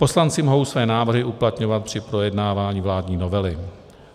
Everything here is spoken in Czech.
Poslanci mohou své návrhy uplatňovat při projednávání vládní novely.